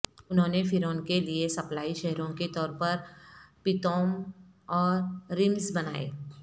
انہوں نے فرعون کے لئے سپلائی شہروں کے طور پر پیتوم اور ریمسز بنائے